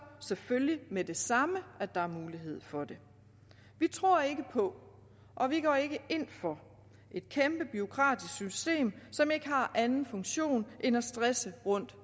selvfølgelig med det samme der er mulighed for det vi tror ikke på og vi går ikke ind for et kæmpe bureaukratisk system som ikke har anden funktion end at stresse